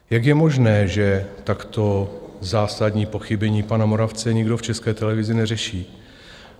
Jak je možné, že takto zásadní pochybení pana Moravce někdo v České televizi neřeší?